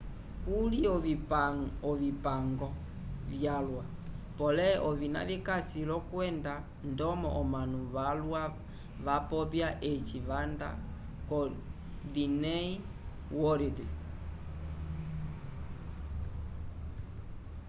kuli ovipango vyalwa pole ovina vikasi l'okwenda ndomo omanu valwa vapopya eci vanda ko diney worid